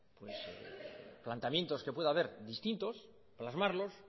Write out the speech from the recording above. planteamientos que pueda haber distintos plasmarlos